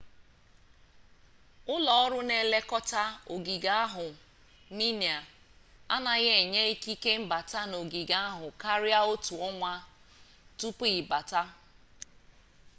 ụlọọrụ na-elekọta ogige ahụ minae anaghị enye ikike mbata n'ogige ahụ karia otu ọnwa tupu ịbata